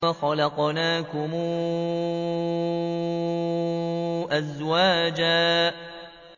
وَخَلَقْنَاكُمْ أَزْوَاجًا